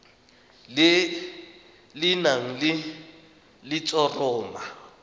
le le nang le letshoroma